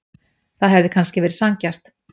Það hefði kannski verið sanngjarnt.